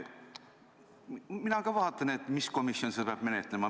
Mina ka vaatan, et mis komisjon siis peaks seda menetlema.